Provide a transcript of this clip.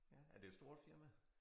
Er det et stort firma?